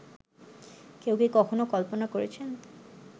কেউ কি কখনো কল্পনা করেছেন